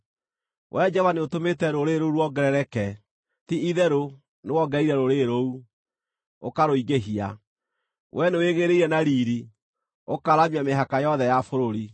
Wee Jehova nĩũtũmĩte rũrĩrĩ rũu ruongerereke; ti-itherũ nĩwongereire rũrĩrĩ rũu, ũkarũingĩhia. Wee nĩwĩgĩĩrĩire na riiri, ũkaaramia mĩhaka yothe ya bũrũri.